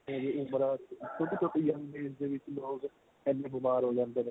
ਇਹ ਉਮਰਾ ਛੋਟੀ ਛੋਟੀ young age ਦੇ ਵਿੱਚ ਲੋਗ ਇੰਨੇ ਬੀਮਾਰ ਹੋ ਜਾਂਦੇ ਨੇ